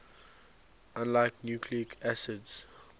unlike nucleic acids